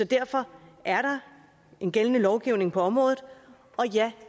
derfor er der en gældende lovgivning på området og ja